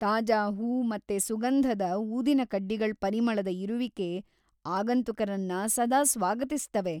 ತಾಜಾ ಹೂ ಮತ್ತೆ ಸುಂಗಧದ ಊದಿನಕಡ್ಡಿಗಳ್‌ ಪರಿಮಳದ ಇರುವಿಕೆ ಅಗಂತುಕರನ್ನ ಸದಾ ಸ್ವಾಗತಿಸ್ತವೆ.